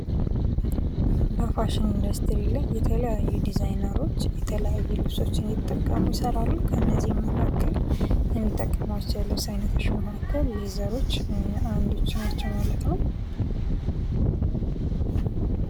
በፋሽን ኢንዱስትሪ ላይ የተለያዩ ዲዛይነሮች በተለያየ ልብሶችን እየተጠቀሙ ይሰራሉ ከነዚህም መካከል የሚጠቀሟቸው የልብስ አይነቶች መካከል ሌዘሮች አንዶቹ ናቸው ማለት ነው።